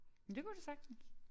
Det kunne det sagtens